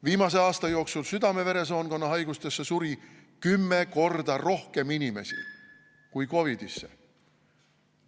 Viimase aasta jooksul südame-veresoonkonna haigustesse suri kümme korda rohkem inimesi kui COVID‑isse.